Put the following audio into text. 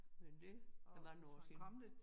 Men det er mange år siden